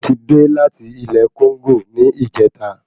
Mo ti dé láti ilé Kóńgò ní ìjẹta